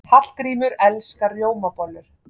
Hallgrímur elskar rjómabollur.